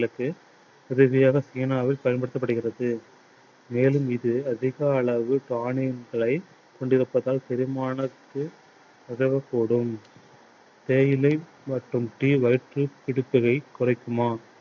சீனாவில் பயன்படித்தப்படுகிறது. மேலும் இது அதிக அளவு கொண்டிருப்பதால் செரிமானத்திற்கு உதவக் கூடும். தேயிலை மற்றும் tea குறைக்குமா?